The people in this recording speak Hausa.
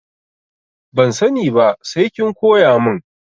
Ban sani ba sai kin koya mun.